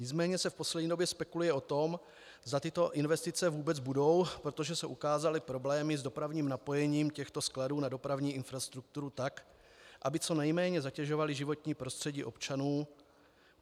Nicméně se v poslední době spekuluje o tom, zda tyto investice vůbec budou, protože se ukázaly problémy s dopravním napojením těchto skladů na dopravní infrastrukturu tak, aby co nejméně zatěžovaly životní prostředí občanů.